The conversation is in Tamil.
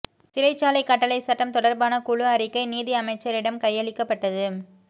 சிறைச்சாலை கட்டளை சட்டம் தொடர்பான குழு அறிக்கை நீதி அமைச்சரிடம் கையளிக்கப்பட்டது